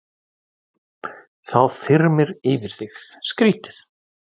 Þá þyrmir yfir þig, skrýtið.